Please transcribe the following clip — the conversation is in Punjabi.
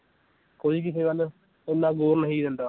ਕੋਈ ਕਿਸੇ ਵੱਲ ਇੰਨਾ ਨਹੀਂ ਦਿੰਦਾ।